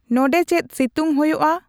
ᱱᱚᱰᱮ ᱪᱮᱫ ᱥᱤᱛᱩᱝ ᱦᱳᱭᱳᱜᱼᱟ